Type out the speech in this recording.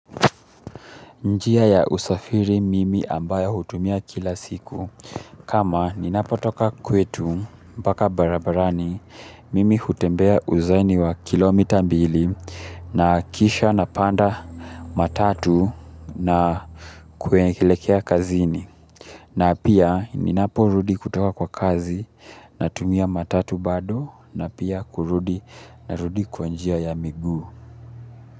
Njia ya usafiri mimi ambayo hutumia kila siku, kama ninapotoka kwetu mpaka barabarani mimi hutembea uzaini wa kilomita mbili na kisha napanda matatu na kuelekea kazini. Na pia ninaporudi kutoka kwa kazi natumia matatu bado na pia kurudi na rudi kwa njia ya mguu.